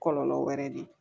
Kɔlɔlɔ wɛrɛ de ye